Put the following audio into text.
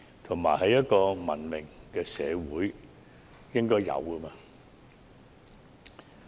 這是文明社會應有的嗎？